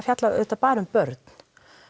fjalla auðvitað bara um börn